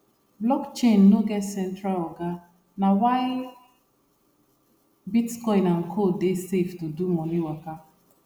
blockchain no get central oga na why bitcoin and co dey safe to do money waka